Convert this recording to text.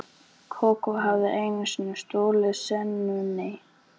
Kókó hafði einu sinni stolið senunni.